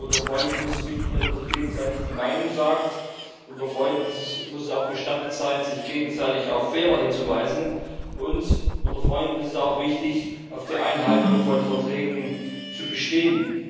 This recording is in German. Denn unter Freunden ist es wichtig, dass man sich gegenseitig die Meinung sagt, unter Freuden muss es auch gestattet sein, sich gegenseitig auf Fehler hinzuweisen, und unter Freunden ist es auch wichtig, auf der Einhaltung von Verträgen zu bestehen.